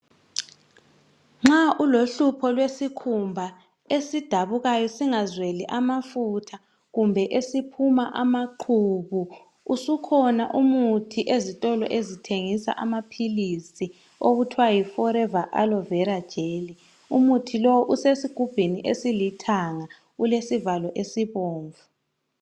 Nxa ulohlupho lwesikhumba, esidabukayo singazweli amafutha, kumbe esiphuma amaqhubu. Usukhona umuthi ezitolo ezithengisa amaphilisi. Okuthiwa yiFOREVER ALOE VERA GEL Umuthi lowo usesigubhini esilithanga, ulesivalo esibomvu.